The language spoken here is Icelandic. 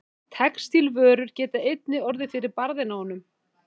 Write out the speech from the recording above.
Textílvörur geta einnig orðið fyrir barðinu á honum.